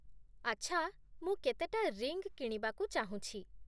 ଆଚ୍ଛା, ମୁଁ କେତେଟା ରିଙ୍ଗ୍ କିଣିବାକୁ ଚାହୁଁଛି ।